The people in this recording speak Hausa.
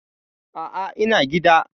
A'a, ina gida.